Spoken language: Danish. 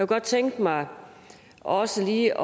godt tænke mig også lige